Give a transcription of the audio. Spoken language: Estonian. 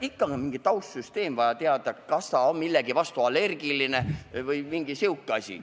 Ikka on vaja mingisugust taustsüsteemi teada, näiteks seda, kas ta on millegi vastu allergiline või midagi muud.